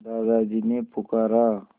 दादाजी ने पुकारा